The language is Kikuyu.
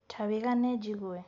Ta wĩgane njigue.